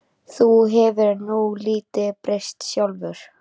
Þú hefur nú lítið breyst sjálfur.